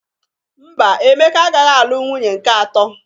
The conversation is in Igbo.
Mba, Emeka agaghị alụ nwunye nke atọ.